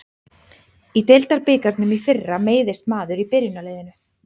Í deildabikarnum í fyrra meiðist maður í byrjunarliðinu.